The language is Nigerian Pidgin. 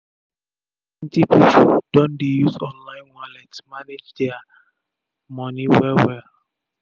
plenti pipu don dey use online wallet manage dia manage dia moni wel wel